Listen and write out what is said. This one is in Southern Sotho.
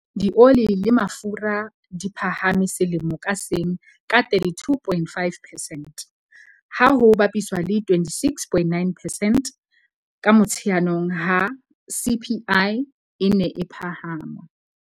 Dioli le mafura di phahame selemo ka seng ka 32.5 percent, ha ho bapiswa le 26.9 percent ka Motsheanong ha CPI e ne e phahama.